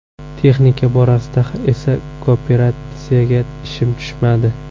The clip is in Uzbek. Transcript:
Texnika borasida esa kooperatsiyaga ishim tushmadi.